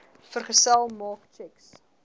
vergesel maak tjeks